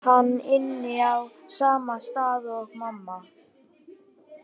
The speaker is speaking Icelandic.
Bara að hann ynni á sama stað og mamma.